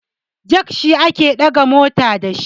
jak shi ake daga mota da shi